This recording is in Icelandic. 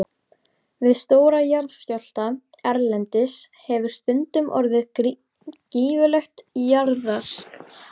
Við stóra jarðskjálfta erlendis hefur stundum orðið gífurlegt jarðrask.